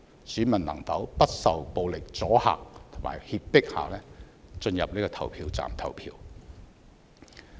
選民能否不受暴力阻嚇和脅迫地進入投票站投票？